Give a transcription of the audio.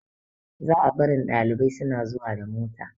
Za a barin ɗalibai suna zuwa da mota